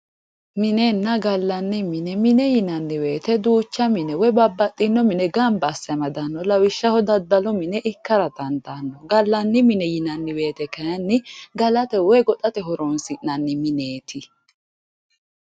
minenna galanni mine mine yinanni woyiite duucha woy babbaxinno mine ganba asse amadanno lawishshaho daddalu mine ikkara dandaano galanni mine yinanni woyite kayiini galate woy goxate horonsi'nanni mineeti